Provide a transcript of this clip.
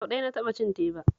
Sau ɗaya na taɓa cin teba